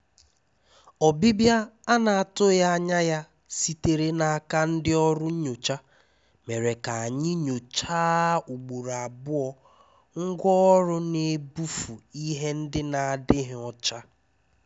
Ọ́bịbịá à nà-àtụghí ányá sítéré n’áká ndí ọ́rụ́ nyóchá mèré ká ànyị́ nyòcháá ùgbòró àbụọ́ ngwá ọ́rụ́ n’ébúfú íhé ndí n’àdíghí ọ́chá.